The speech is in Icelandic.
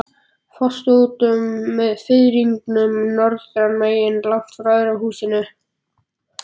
Foss stóð út með firðinum norðanmegin, langt frá öðrum húsum.